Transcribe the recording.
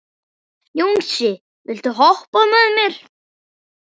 Jónsi, viltu hoppa með mér?